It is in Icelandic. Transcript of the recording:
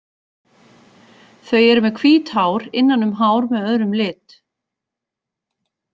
Þau eru með hvít hár innan um hár með öðrum lit.